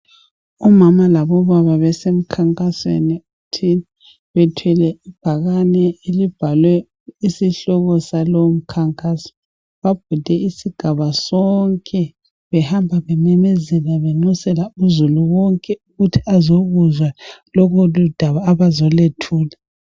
Omama labobaba besemkhankasweni bethwele ibhakane elibhalwe isihloko saleyo mkhankaso. Babhode isigaba sonke behamba bememezela bexusela uzulu wonke ukuthi azokuzwa lolu daba abazolwethula.